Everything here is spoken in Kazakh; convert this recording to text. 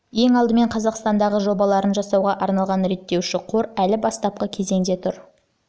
ең алдымен қазақстандағы жобаларын жасауға арналған реттеуші қор әлі бастапқы кезеңде тұр